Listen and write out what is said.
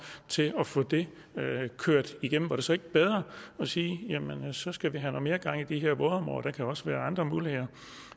til at få det kørt igennem var det så ikke bedre at sige at så skal vi have mere gang i de her vådområder og der kan også være andre muligheder